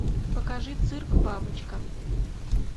покажи цирк бабочка